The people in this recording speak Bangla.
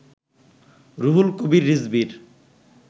রুহুল কবির রিজভীর